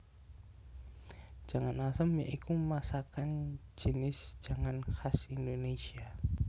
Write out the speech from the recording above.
Jangan asem ya iku masakan jinis jangan khas Indonésia